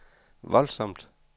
voldsomt